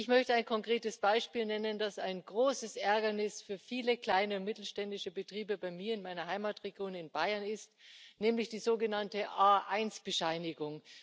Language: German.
Ich möchte ein konkretes Beispiel nennen, das ein großes Ärgernis für viele kleine und mittelständische Betriebe in meiner Heimatregion, in Bayern, ist nämlich die sogenannte A1 Bescheinigung.